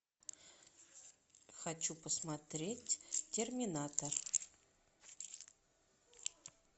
хочу посмотреть терминатор